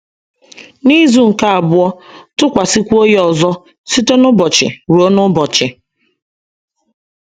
N’izu nke abụọ, tụkwasịkwuo ya ọzọ, site n’ụbọchị ruo n’ụbọchị.